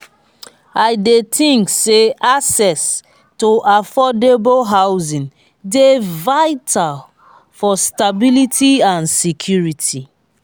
i dey think say access to affordable housing dey vital for stability and security.